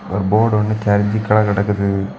ஒரு போர்டு வந்து கெரஞ்சி கீழ கிடக்குது.